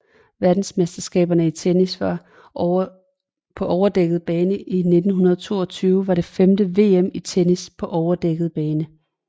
Verdensmesterskaberne i tennis på overdækket bane 1922 var det femte VM i tennis på overdækket bane